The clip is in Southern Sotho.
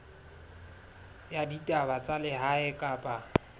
ya ditaba tsa lehae kapa